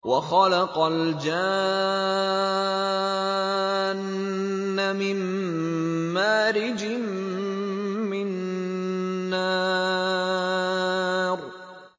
وَخَلَقَ الْجَانَّ مِن مَّارِجٍ مِّن نَّارٍ